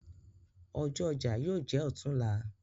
Ọjọ̀ ọjà yóò jẹ́ ọ̀tunla.